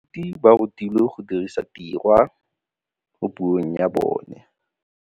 Baithuti ba rutilwe go dirisa tirwa mo puong ya bone.